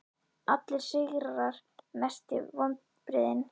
Allir sigrar sætir Mestu vonbrigði?